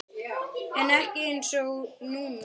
En ekki einsog núna.